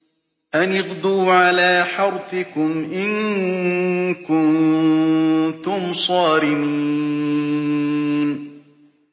أَنِ اغْدُوا عَلَىٰ حَرْثِكُمْ إِن كُنتُمْ صَارِمِينَ